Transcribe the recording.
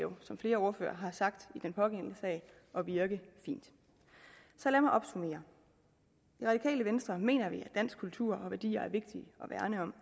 som flere ordførere har sagt i den pågældende sag at virke fint så lad mig opsummere i radikale venstre mener vi at dansk kultur og danske værdier er vigtige at værne om